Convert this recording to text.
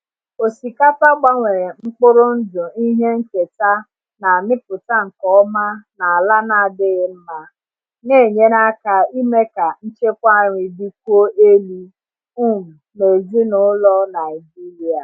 Osikapa gbanwere mkpụrụ ndụ ihe nketa na-amịpụta nke ọma n’ala na-adịghị mma, na-enyere aka ime ka nchekwa nri dịkwuo elu um n’ezinụlọ Naijiria.